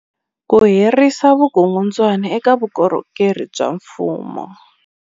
Ku herisa vukungundwani eka vukorhokeri bya mfumo